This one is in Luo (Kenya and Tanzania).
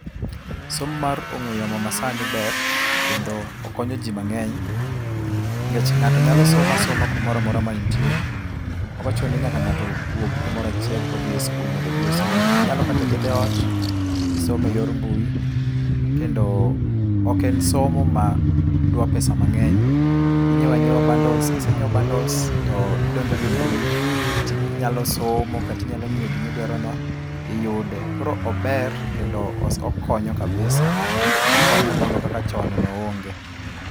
Somo mar ong'ue yamo ma sani ber kendo okonyo ji mang'eny, nikech ng'ato nyalo somo asoma kumoro amora ma entie. Ok ochuno ni nyaka ng'ato wuog kumoro achiel kodhi e sikul mondo odhi osom. Inyalo kata bedo eot tisomo eyor mbui kendo ok en somo madwa pesa mang‘eny. Inyiewo anyiewa bundles kise nyiewo bundles to idonjo go e mbui to inyalo somo kata inyalo ng'iyo gima idwarono, iyude koro ober kendo okonyo kabisa okonyo moloyo kaka chon noonge.